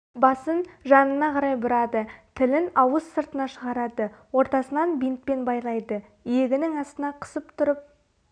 басын жанына қарай бұрады тілін ауыз сыртына шығарады ортасынан бинтпен байлайды иегінің астына қысып тұрып